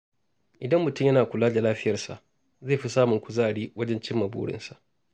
Idan mutum yana kula da lafiyarsa, zai fi samun kuzari wajen cimma burinsa.